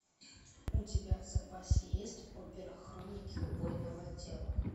у тебя в запасе есть опера хроники убойного отдела